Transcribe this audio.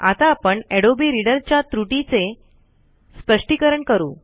आता आपण Adobe reader च्या त्रुटीचे सपष्टीकरण करू